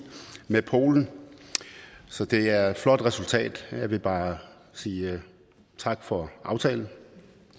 med polen så det er et flot resultat og jeg vil bare sige tak for aftalen